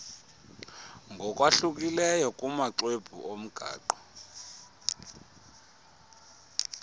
ngokwahlukileyo kumaxwebhu omgaqo